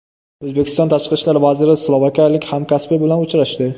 O‘zbekiston Tashqi ishlar vaziri slovakiyalik hamkasbi bilan uchrashdi.